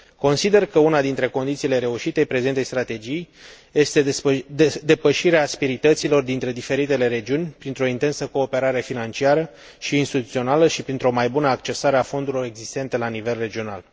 Consider că una dintre condițiile reușitei prezentei strategii este depășirea asperităților dintre diferitele regiuni printr o intensă cooperare financiară și instituțională și printr o mai bună accesare a fondurilor existente la nivel regional.